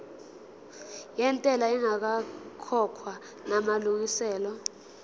yentela ingakakhokhwa namalungiselo